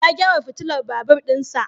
Ya gyara fitilar babur din sa.